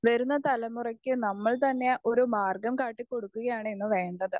Speaker 1 വരുന്ന തലമുറയ്ക്ക് നമ്മൾ തന്നെ ഒരു മാർഗ്ഗം കാട്ടി കൊടുക്കുകയാണ് ഇന്ന് വേണ്ടത്.